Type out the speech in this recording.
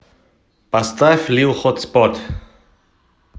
поставь лил хотспот